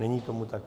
Není tomu tak.